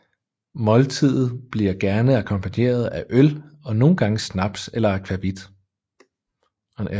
Måltiden bliver gerne akkompagneret af øl og nogle gange snaps eller akvavit